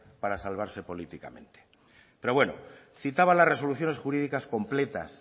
para salvarse políticamente pero bueno citaba las resoluciones jurídicas completas